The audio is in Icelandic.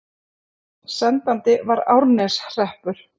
Sendandi var Árneshreppur.